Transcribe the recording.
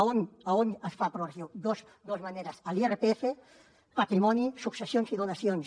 on es fa progressiu dos maneres a l’irpf patrimoni successions i donacions